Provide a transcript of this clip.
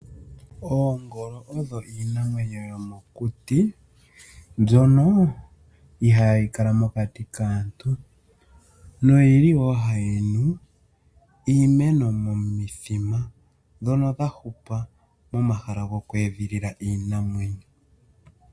Oongolo odho iinamwenyo yomokuti mbyono ohayi kala mokati kaantu noyili wo hayi nu iimeno momithima dhono dhahupa momahala goku edhilila iinamwenyo.